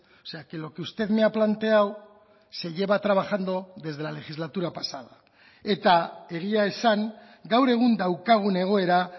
o sea que lo que usted me ha planteado se lleva trabajando desde la legislatura pasada eta egia esan gaur egun daukagun egoera